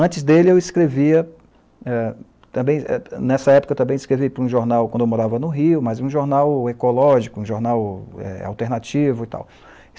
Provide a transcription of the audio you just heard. Antes dele, eu escrevia, eh... Também, eh, eh, nessa época, eu também escrevi para um jornal, quando eu morava no Rio, mas um jornal ecológico, eh, um jornal alternativo e tal.